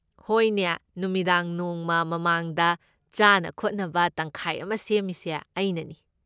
ꯍꯣꯏꯅꯦ, ꯅꯨꯃꯤꯗꯥꯡ ꯅꯣꯡꯃ ꯃꯃꯥꯡꯗ ꯆꯥꯅ ꯈꯣꯠꯅꯕ ꯇꯪꯈꯥꯏ ꯑꯃ ꯁꯦꯝꯃꯤꯁꯦ ꯑꯩꯅꯅꯤ꯫